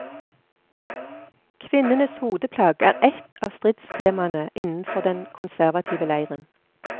Kvinnenes hodeplagg er ett av stridstemaene innenfor den konservative leiren.